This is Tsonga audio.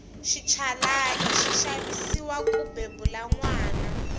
xinchalani xi xaviwa ku bebula nwana